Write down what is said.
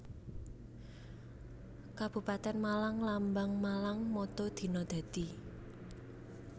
Kabupatèn MalangLambang MalangMotto Dina Dadi